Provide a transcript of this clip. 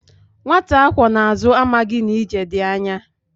Nwata akwó na azu, amaghi na ije di anya